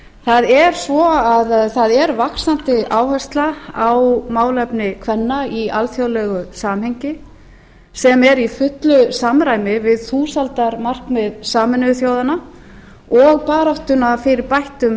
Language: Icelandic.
það er svo að það er vaxandi áhersla á málefni kvenna í alþjóðlegu samhengi sem er í fullu samræmi við þúsaldarmarkmið sameinuðu þjóðanna og baráttunni fyrir bættum